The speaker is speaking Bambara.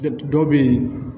Dɔw bɛ yen